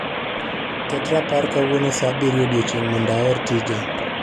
Ket rapar kawuono saa abirio ochiechieng' mondo aor tija